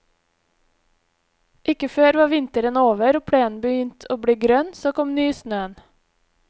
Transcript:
Ikke før var vinteren over og plenen begynt å bli grønn, så kom nysnøen.